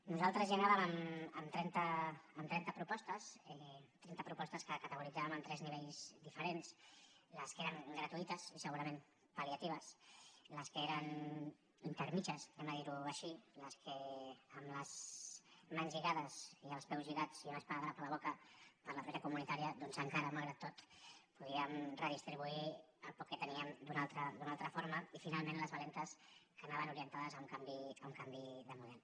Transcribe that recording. nosaltres hi anàvem amb trenta propostes trenta propostes que categoritzàvem en tres nivells diferents les que eren gratuïtes i segurament pal·liatives les que eren intermèdies diguem ho així les que amb les mans lligades i els peus lligats i un esparadrap a la boca per la troica comunitària doncs encara malgrat tot podíem redistribuir el poc que teníem d’una altra forma i finalment les valentes que anaven orientades a un canvi de model